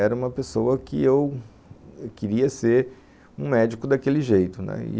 Era uma pessoa que eu queria ser um médico daquele jeito, né. E...